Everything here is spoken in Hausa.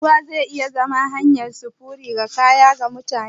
Shin ruwa zai iya zama hanyar sufuri ga kaya da mutane?